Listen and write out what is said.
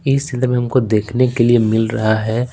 इस क्षेत्र में हमको देखने के लिए मिल रहा है।